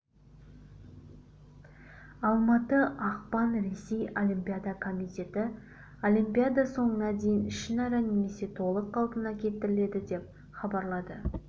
алматы ақпан ресей олимпиада комитеті олимпиада соңына дейін ішінара немесе толық қалпына келтіріледі деп хабарлады